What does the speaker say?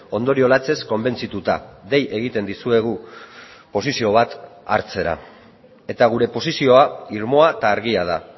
ondorio latzez konbentzituta dei egiten dizuegu posizio bat hartzera eta gure posizioa irmoa eta argia da